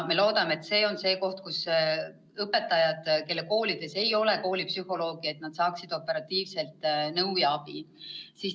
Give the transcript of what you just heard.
Me loodame, et õpetajad, kelle koolis ei ole koolipsühholoogi, saavad sealt operatiivselt nõu ja abi.